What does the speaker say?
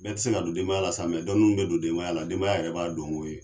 bɛɛ tɛ se ka don denbaya la sa dɔɔni min bɛ don denbaya la denbaya yɛrɛ b'a don won ye.